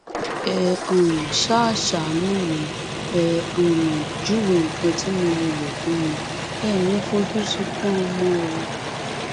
ẹ um ṣáà ṣàánú mi ẹ um júwe nǹkan tí mo lè lò fún mi èé ní fojú sunkún ọmọ o